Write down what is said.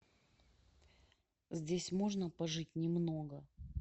здесь можно пожить немного